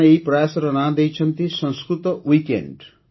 ସେମାନେ ଏହି ପ୍ରୟାସର ନାଁ ଦେଇଛନ୍ତି "ସଂସ୍କୃତ Weekend"